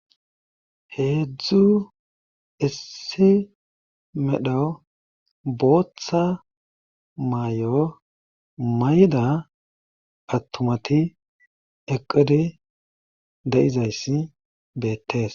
Heedzdzu issi medho booththa mayo mayda attumati eqqidi de'izayssi beetees.